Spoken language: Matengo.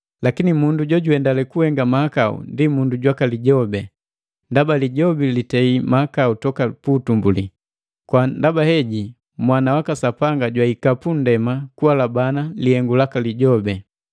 Lakini mundu jojuhendale kuhenga mahakau ndi mundu jwaka Lijobi, ndaba Lijobi litei mahakau toka pu utumbuli. Kwa ndaba heji Mwana waka Sapanga jwahika pu nndema kuhalabana lihengu laka Lijobi.